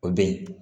O be yen